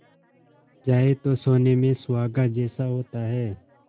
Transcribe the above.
जाए तो सोने में सुहागा जैसा होता है